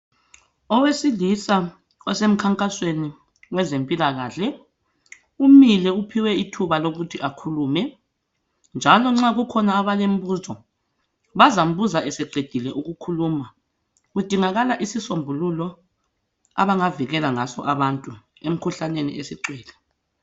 Owesilisa osemkhankasweni wezempilakahle umile uphiwe ithuba lokuthi akhulume njalo nxa kukhona abalembuzo bazambuza eseqedile ukukhuluma, kudingakala isisombululo abangavikela ngaso abantu emkhuhlaneni esigcwele.